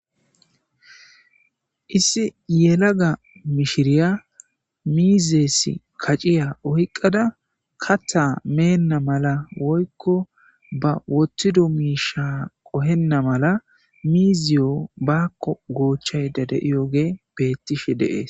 Issi yelaga mishiriya mizisi kac'iya oyqada katha mena mala ba wothido misha qohena mala mizuyo bako gochayida diyogeyi betishe de'es